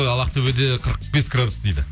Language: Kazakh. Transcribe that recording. ал ақтөбеде қырық бес градус дейді